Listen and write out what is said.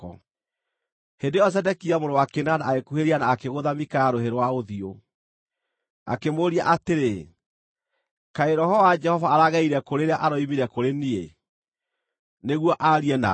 Hĩndĩ ĩyo Zedekia mũrũ wa Kenaana agĩkuhĩrĩria na akĩgũtha Mikaya rũhĩ rwa ũthiũ. Akĩmũũria atĩrĩ, “Kaĩ roho wa Jehova aragereire kũ rĩrĩa aroimire kũrĩ niĩ, nĩguo aarie nawe?”